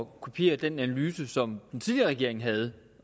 kopiere den analyse som den tidligere regering havde